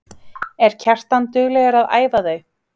Er Kjartan duglegur að æfa þau?